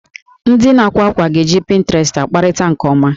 Ndị na-ákwà àkwá ga-eji pinterest akparịta nke ọma